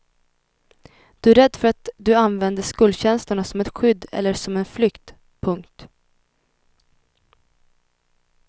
Du är rädd för att du använder skuldkänslorna som ett skydd eller som en flykt. punkt